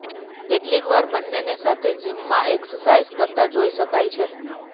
કેટલીક વાર બંનેને સાથે જીમમાં એક્સરસાઈઝ કરતા જોઈ શકાય છે